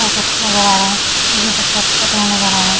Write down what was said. उ कठु नज़र आ रहे जो की पत्थर पे बैठे नज़र आ रहा है।